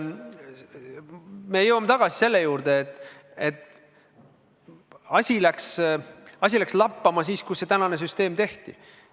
Me jõuame tagasi selle juurde, et asi läks lappama siis, kui praegune süsteem tehti.